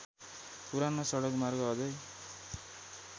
पुरानो सडकमार्ग अझै